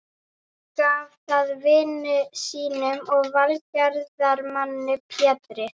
Gaf það vini sínum og velgerðarmanni Pétri